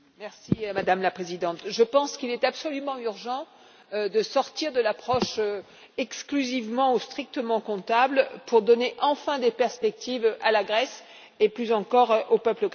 Madame la Présidente, je pense qu'il est absolument urgent de sortir de l'approche exclusivement ou strictement comptable pour donner enfin des perspectives à la Grèce et, plus encore, au peuple grec.